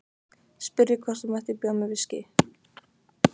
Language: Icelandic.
Spurði hvort hún mætti bjóða mér viskí.